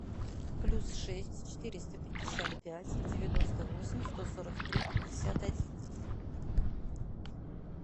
плюс шесть четыреста пятьдесят пять девяносто восемь сто сорок три пятьдесят один